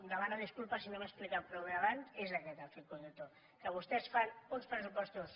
demano disculpes si no m’he explicat prou bé abans és aquest el fil conductor que vostès fan uns pressupostos